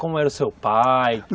Como era o seu pai?